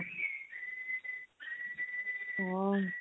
ହଁ